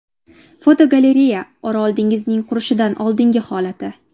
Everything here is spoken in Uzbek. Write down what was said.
Fotogalereya: Orol dengizining qurishidan oldingi holati.